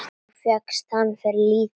Og fékkst hana fyrir lítið!